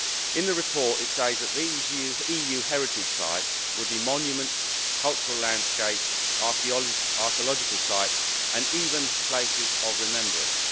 In the report it says that these EU heritage sites would be monuments, cultural landscapes, archaeological sites, and even places of remembrance.